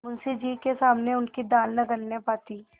मुंशी जी के सामने उनकी दाल न गलने पाती